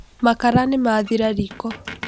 Makara nĩmathira riko.